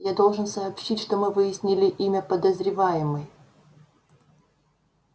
я должен сообщить что мы выяснили имя подозреваемой